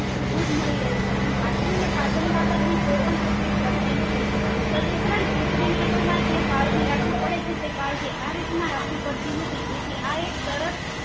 માટે પુરતું દુધ મળી રહેછે અને વાસ્ત્રુ ને પાચન બાબત ની કોઈ પણ તકલીફ પડતી નથી તદુપરાંત કૃત્રિમ રીટા માં જે કાળજી રાખવી પડે છે તે કાળજી આરીત માં રાખવી પડતી નથી તેથી આ એક સરસ